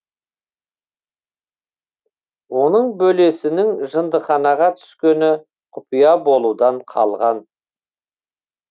оның бөлесінің жындыханаға түскені құпия болудан қалған